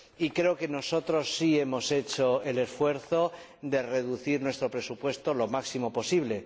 Y creo que nosotros sí hemos hecho el esfuerzo de reducir nuestro presupuesto lo máximo posible.